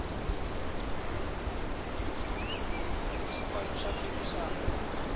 swipano swa phikizana